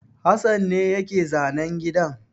Hassan ne ya yi zanen gidan.